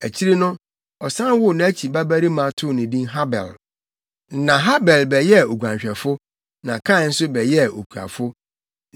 Akyiri no, ɔsan woo nʼakyi babarima too no din Habel. Na Habel bɛyɛɛ oguanhwɛfo, na Kain nso bɛyɛɛ okuafo.